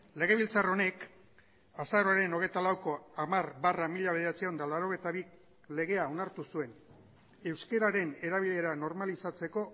legebiltzar honek azaroaren hogeita lauko hamar barra mila bederatziehun eta laurogeita bi legea onartu zuen euskararen erabilera normalizatzeko